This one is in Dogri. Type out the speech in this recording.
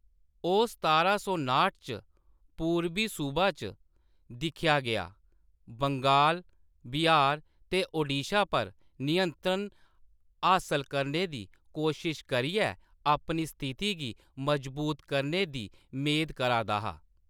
ओह्‌‌ सतारां सौ नाह्ट च पूरबी सूबा च दिक्खेआ गेआ, बंगाल, बिहार ते ओडिशा पर नियंत्रण हासल करने दी कोशश करियै अपनी स्थिति गी मजबूत करने दी मेद करा दा हा।